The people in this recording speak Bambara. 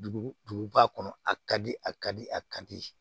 Dugu duguba kɔnɔ a ka di a ka di a ka di